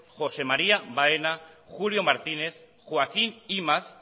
josé maría baena julio martínez joaquín imaz